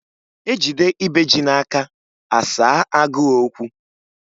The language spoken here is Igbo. Ejide ibe ji n'aka, a saa agụụ okwu.